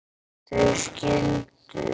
þau skildu.